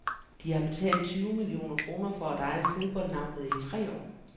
De har betalt tyve millioner kroner for at eje fodboldnavnet i tre år.